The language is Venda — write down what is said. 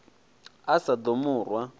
a sa ḓo mu rwa